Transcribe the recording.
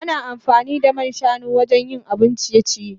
Ana amfani da man shanu wajen yin abun ciye-ciye.